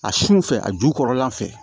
A sun fɛ a ju kɔrɔla fɛ